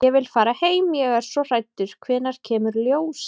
Ég vil fara heim. ég er svo hræddur. hvenær kemur ljósið?